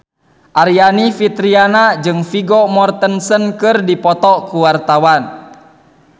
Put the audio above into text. Aryani Fitriana jeung Vigo Mortensen keur dipoto ku wartawan